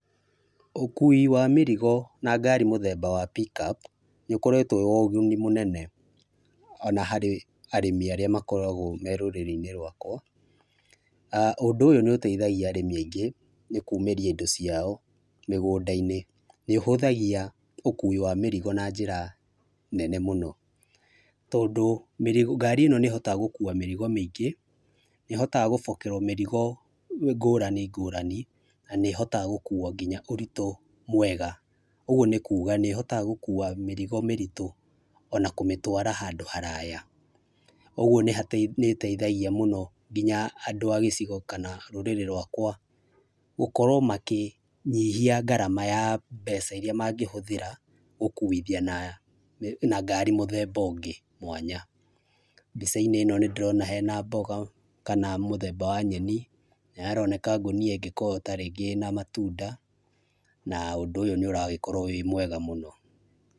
Ũkũĩ wa mĩrĩgo na ngarĩ mũthemba wa pick up nĩũkoretwo wĩrĩmi ũndũ mũnene on harĩ arĩmi arĩa makoragwo me rũrĩrĩ-inĩ rwakwa, ũndũ ũyũ nĩ ũteĩthagĩa arĩmi aingĩ nĩ kũmĩria ĩndo ciao mĩgũndaĩnĩ nĩ ũhũthagia ũkũĩ wa mĩrĩgo na njĩra nene mũno, tondũ ngari ĩno nĩ ĩhotaga gũkũa mĩrigo mĩingĩ nĩ ĩhotaga gũbokerwo mĩrigo ngũrani ngũrani na nĩ ĩhota gũkũa ngĩnya ũrĩtũ mwega ũgũo nĩkũga nĩ ĩhotaga gũkũa mĩrigo mĩrĩtũ ona kũmĩtwara handũ haraya, ũguo nĩ ĩteithagia mũno nginya andũ agĩcigo kana rũrĩrĩ rwakwa gũkorwo makĩnyihia ngarama ya mbeca ĩria mangĩ hũthĩra gũkũithia na ngarĩ mũthemba ũngĩ mwanya, mbica-inĩ ĩno nĩ ndĩrona hena mbũga kana mũthemba wa nyeni nĩ haroneka hena ngũnĩa tarĩngĩ ĩngĩkorwo ĩna matunda na ũndũ ũyũ nĩ ũragĩkorwa wĩ mwega mũno.